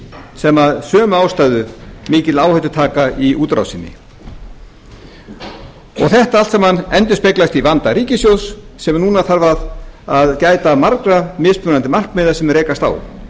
sem af sömu ástæðu mikla áhættu taka í útrásinni og þetta allt saman endurspeglast í vanda ríkissjóðs sem núna þarf að gæta margra mismunandi markmiða sem rekast á ofan